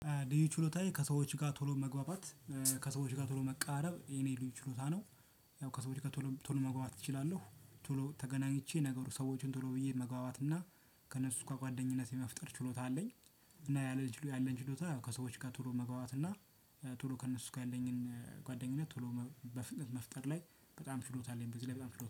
ልዩ ችሎታዬ ከሰዎች ጋር ቶሎ መግባባት ከሰዎች ጋር ቶሎ መቃረብ የኔ ልዩ ችሎታ ነው። ያው ከሰዎች ጋር ቶሎ መግባባት እችላለሁ ቶሎ ተገናኝቼ ነገሩ ሰዎችን ቶሎ ብዬ መግባባት እና ከእነሱ እስከ ጓደኝነት የመፍጠር ችሎታ አለኝ። እና ያለኝ ችሎታ ከሰዎች ጋር ቶሎ መግባባት እና ቶሎ ከእነሱ ጋ ያለኝኝ ጓደኝነት ቶሎ በፍጥነት መፍጠር ላይ በጣም ችሎታ አለኝ በዚህ ላይ በጣም ችሎታ